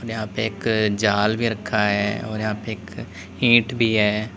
यहां पे एक जाल भी रखा है और यहां पे एक ईंट भी है।